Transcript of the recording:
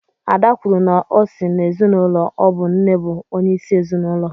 Ada kwuru na o si n’ezinụlọ ọ bụ nne bụ onye isi ezinụlọ